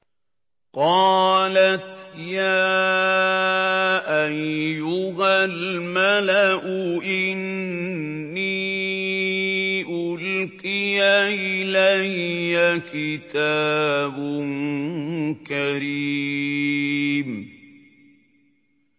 قَالَتْ يَا أَيُّهَا الْمَلَأُ إِنِّي أُلْقِيَ إِلَيَّ كِتَابٌ كَرِيمٌ